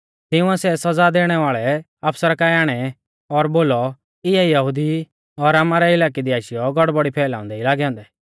तिंउऐ सै सौज़ा देणै वाल़ै अफसरा काऐ आणै और बोलौ इऐ यहुदी ई और आमारै इलाकै दी आशीयौ गड़बड़ी फैलाउंदै ई लागै औन्दै